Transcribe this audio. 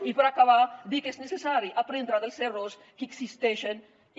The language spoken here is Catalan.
i per acabar dir que és necessari aprendre dels errors que existeixen i